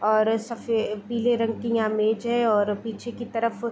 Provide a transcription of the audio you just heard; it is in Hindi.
और सफे पीले रंग की इमेज है और पीछे की तरफ --